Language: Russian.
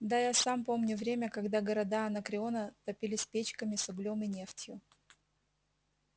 да я сам помню время когда города анакреона топились печками с углем и нефтью